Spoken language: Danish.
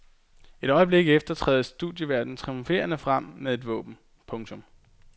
Et øjeblik efter træder studieværten triumferende frem med et våben. punktum